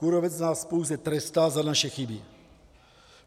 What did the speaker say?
Kůrovec nás pouze trestá za naše chyby.